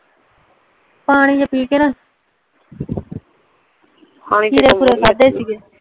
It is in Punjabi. ਪਾਣੀ ਜੀਆ ਪੀ ਕੇ ਨਾ ਖੀਰੇ ਖੁਰੇ ਖਾਦੇ ਸੀ ਗੇ